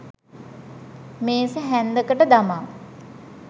මේස හැන්දකට දමා